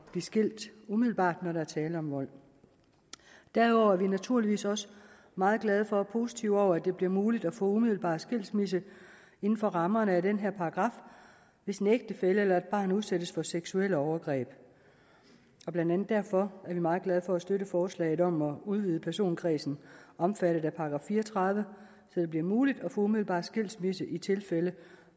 at blive skilt umiddelbart når der er tale om vold derudover er vi naturligvis også meget glade for og positive over for at det bliver muligt at få umiddelbar skilsmisse inden for rammerne af den her paragraf hvis en ægtefælle eller et barn udsættes for seksuelle overgreb og blandt andet derfor er vi meget glade for at støtte forslaget om at udvide personkredsen omfattet af § fire og tredive så det bliver muligt at få umiddelbar skilsmisse i tilfælde